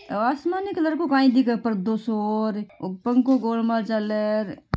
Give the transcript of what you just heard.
आसमानी कलर को काई दिख पर्दो सो और पंखों गोलमा चल ऐ--